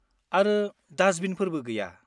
आरो दास्टबिनफोरबो गैया।